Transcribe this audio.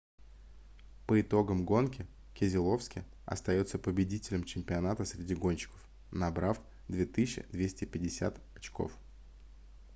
по итогам гонки кезеловски остается победителем чемпионата среди гонщиков набрав 2250 очков